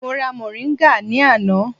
Mo ra moringa ní àná.